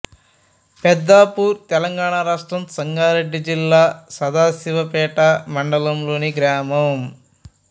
పెద్దాపూర్ తెలంగాణ రాష్ట్రం సంగారెడ్డి జిల్లా సదాశివపేట మండలంలోని గ్రామం